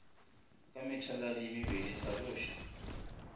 ka methaladi ye mebedi hlaloša